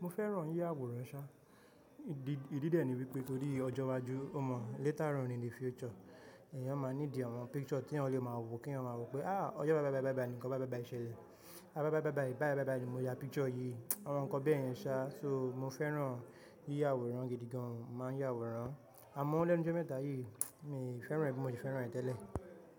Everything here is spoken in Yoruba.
Mo fẹ́ran yí àwòrán ṣá, ìdí ìdí dé ni wípé torí ọjọ́ iwájú o mọ later on in the future èèyàn máa ní di àwọn picture tí eeyan lè máa wo kí eeyan máa wọ pé, ah ọjọ́ báìbáìbáìbáì ní nnkan báìbáìbáìṣẹlẹ̀, báìbáìbáìbáì báìbáìbáì ni mo ya picture yìí, àwọn nnkan bèyẹn ṣá, so mo fẹ́ran yíyavàwòrán gidi gan, màá ya àwòrán, àmọ́ lẹ́nu jẹ́ mẹ́ta yìí mi fẹ́ran ẹ bí mo ti fẹ́ran ẹ tẹ́lẹ̀